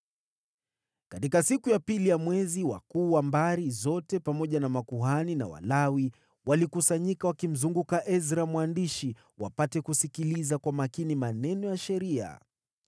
Katika siku ya pili ya mwezi, wakuu wa mbari zote, pamoja na makuhani na Walawi, walikusanyika wakimzunguka Ezra mwandishi ili wapate kusikiliza kwa makini maneno ya Sheria.